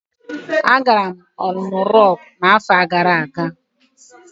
Agara m Olumo Rocku n'afọ gara aga.